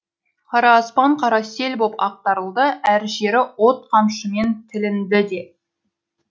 қара аспан қара сел боп ақтарылды әр жері от қамшымен тілінді де